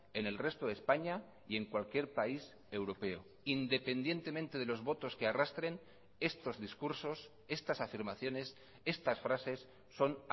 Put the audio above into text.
en el resto de españa y en cualquier país europeo independientemente de los votos que arrastren estos discursos estas afirmaciones estas frases son